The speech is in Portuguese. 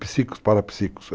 Psicos, parapsicos.